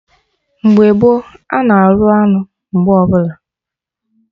Mgbe gboo, anụ arụ anụ mgbe ọbụla